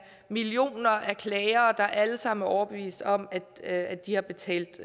millioner af klagere der alle sammen er overbevist om at at de har betalt